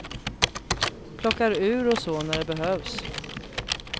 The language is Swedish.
Plockar ur och så när det behövs.